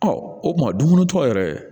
Ɔ o kuma dumuni tɔ yɛrɛ